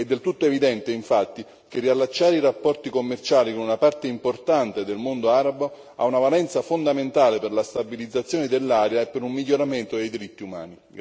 È del tutto evidente, infatti, che riallacciare i rapporti commerciali con una parte importante del mondo arabo ha una valenza fondamentale per la stabilizzazione dell'area e per un miglioramento dei diritti umani.